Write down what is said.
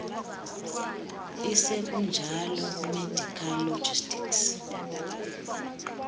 isekunjalo medical logistics